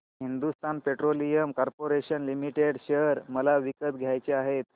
Hindustan petroleum corporation limited share मला विकत घ्यायचे आहेत